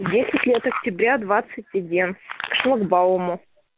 десять лет октября двадцать один к шлагбауму